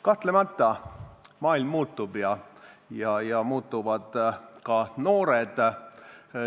Kahtlemata maailm muutub ja muutuvad ka noored.